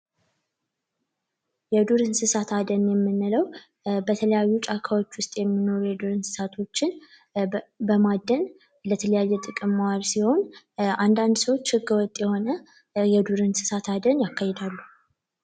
የዱር እንስሳት አደን የምንለው በተለያዩ ጫካዎች ውስጥ የሚኖሩ የዱር እንስሳቶችን በማደን ለተለያየ ጥቅም ማዋል ሲሆን አንዳንድ ሰዎች ህገ ወጥ የሆነ የዱር እንስሳት አደን ያካሄዳሉ።